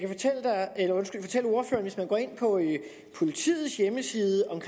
hvis man går ind på politiets hjemmeside og